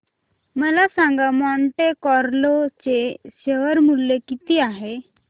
मला सांगा Monte Carlo चे शेअर मूल्य किती आहे